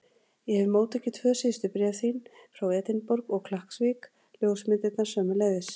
Ég hef móttekið tvö síðustu bréf þín, frá Edinborg og Klakksvík, ljósmyndirnar sömuleiðis.